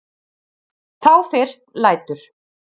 Þá fyrst lætur